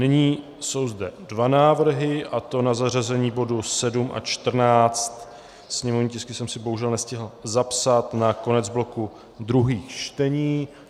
Nyní jsou zde dva návrhy, a to na zařazení bodů 7 a 14, sněmovní tisky jsem si bohužel nestihl zapsat, na konec bloku druhých čtení.